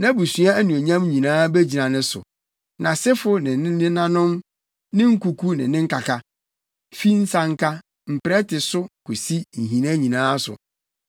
Nʼabusua anuonyam nyinaa begyina ne so: nʼasefo ne ne nenanom, ne nkuku ne nkaka, fi nsanka, mprɛte so kosi nhina nyinaa so.